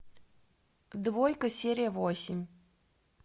двойка серия восемь